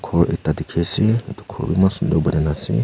ghor ekta dikhi ase itu ghor eman sundor banai na ase.